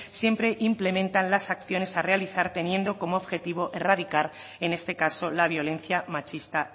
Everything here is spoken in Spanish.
siempre implementan las acciones a realizar teniendo como objetivo erradicar en este caso la violencia machista